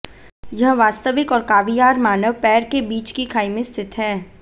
यह वास्तविक और कावीयार मानव पैर के बीच की खाई में स्थित है